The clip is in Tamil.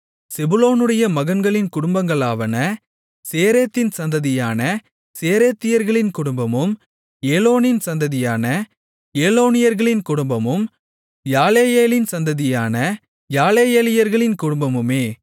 செபுலோனுடைய மகன்களின் குடும்பங்களாவன சேரேத்தின் சந்ததியான சேரேத்தியர்களின் குடும்பமும் ஏலோனின் சந்ததியான ஏலோனியர்களின் குடும்பமும் யாலேயேலின் சந்ததியான யாலேயேலியர்களின் குடும்பமுமே